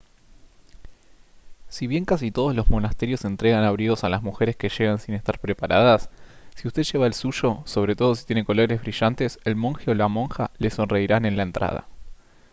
si bien casi todos los monasterios entregan abrigos a las mujeres que llegan sin estar preparadas si usted lleva el suyo sobre todo si tiene colores brillantes el monje o la monja le sonreirán en la entrada